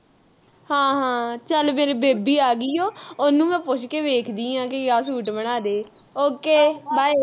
ਹਾਂ ਹਾਂ ਚੱਲ ਮੇਰੀ ਬੇਬੇ ਆ ਗਈ ਉ ਉਹਨੂੰ ਮੈਂ ਪੁੱਛ ਕੇ ਵੇਖਦੀ ਆ ਕਿ ਆਹ ਸੂਟ ਬਣਾਦੇ okaybye